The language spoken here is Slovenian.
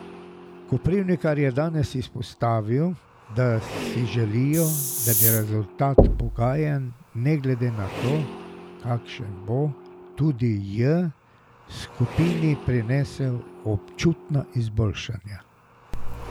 Koprivnikar je danes izpostavil, da si želijo, da bi rezultat pogajanj ne glede na to, kakšen bo, tudi J skupini prinesel občutna izboljšanja.